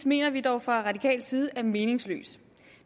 mener vi dog fra radikal side er meningsløs